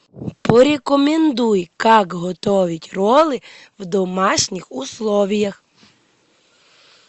порекомендуй как готовить роллы в домашних условиях